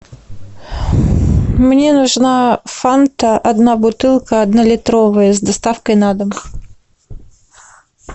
мне нужна фанта одна бутылка однолитровая с доставкой на дом